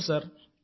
అవును సార్